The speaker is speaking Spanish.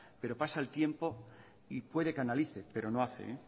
pero pasa el tiempo y puede que analice pero no hace